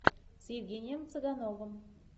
с евгением цыгановым